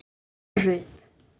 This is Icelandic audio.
Alma Rut.